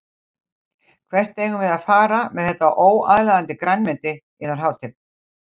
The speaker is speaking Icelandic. Hvert eigum við að fara með þetta óaðlaðandi grænmeti yðar hátign.